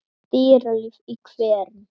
Dýralíf í hverum